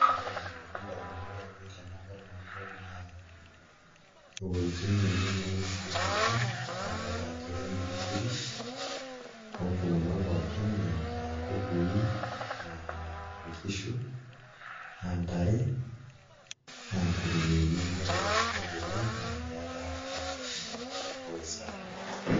Ore entoki nalotu ndamunot ainei tenadol ena toki naa iwueitin nenen nainosieki endaa nadolta ajo kemiri nkiri oo mpukunot pookin aa nkukui aa nkishu aa ntare aa nkurueni naa ewuei sidai oleng' naa keeta afya amu sidai ewuei safi.